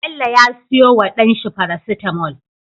Bello ya siyo wa dan shi paracetamol